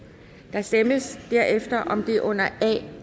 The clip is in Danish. der stemmes derefter om det under a